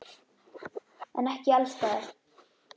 En ekki alls staðar.